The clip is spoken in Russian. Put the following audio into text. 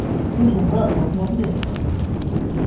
слушай братка вот смотри